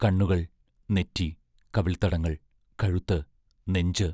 കണ്ണുകൾ, നെറ്റി, കവിൾത്തടങ്ങൾ, കഴുത്ത്, നെഞ്ച്...